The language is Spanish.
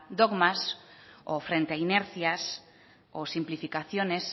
dogmas o frente a inercias o simplificaciones